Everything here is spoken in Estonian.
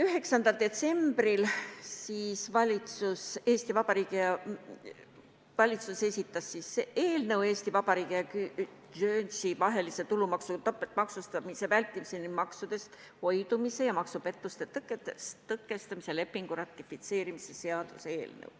9. detsembril esitas Vabariigi Valitsus eelnõu – Eesti Vabariigi ja Guernsey vahelise tulumaksudega topeltmaksustamise vältimise ning maksudest hoidumise ja maksupettuste tõkestamise lepingu ratifitseerimise seaduse eelnõu.